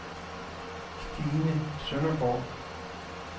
Stine Søndergaard